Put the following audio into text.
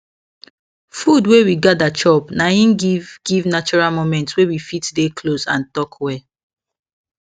food wey we gather chop na hin give give natural moment wey we fit dey close and talk well